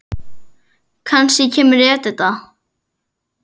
Kannski kemur Edita.